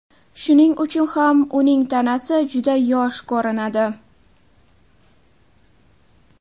Shuning uchun ham uning tanasi juda yosh ko‘rinadi.